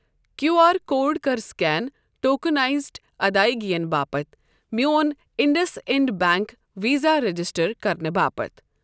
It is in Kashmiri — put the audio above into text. کیوٗ آر کوڈ کَر سکین ٹوکنائزڈ ادٲیگین باپتھ میون IndusInd bank Visa register کرنہٕ باپتھ۔۔